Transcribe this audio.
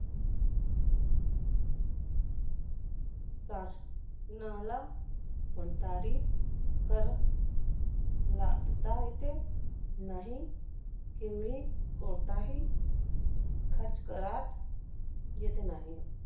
शास~ नाला कोणतादी कर लादता येते नाही, कोणताही खर्च करात येत नाही.